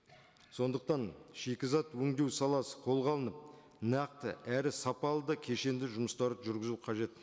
сондықтан шикізат өндеу саласы қолға алынып нақты әрі сапалы да кешенді жұмыстар жүргізуі қажет